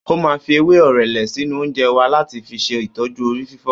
Ó máa fi ewé orele sínú oúnjẹ wa láti fi ṣe ìtọju orí fífọ́